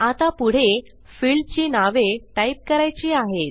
आता पुढे फिल्डची नावे टाईप करायची आहेत